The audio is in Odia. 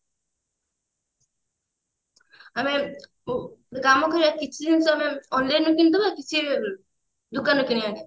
ଆରେ ଗୋଟେ କାମ କରିବା କିଛି ଜିନିଷ ଆମେ online କିଣିଦେବା କିଛି ଦୋକାନରୁ କିଣିବା